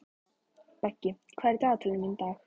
Beggi, hvað er í dagatalinu mínu í dag?